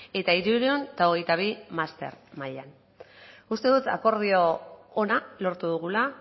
eta hirurehun eta hogeita bi master mailan uste dut akordio ona lortu dugula